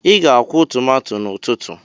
Ị ga-akwụ tomato n'ụtụtụ!